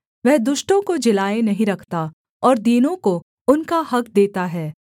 वह दुष्टों को जिलाए नहीं रखता और दीनों को उनका हक़ देता है